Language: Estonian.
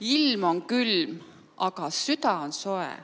Ilm on külm, aga süda on soe.